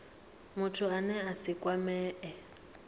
muthu ane a si kwamee